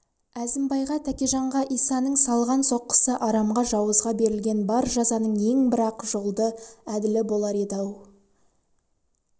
әзімбайға тәкежанға исаның салған соққысы арамға жауызға берілген бар жазаның ең бір ақ жолды әділі болар еді-ау